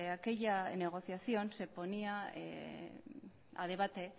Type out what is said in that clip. aquella negociación se ponía a debate